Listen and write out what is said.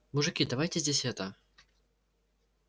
мужики давайте здесь это